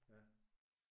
Ja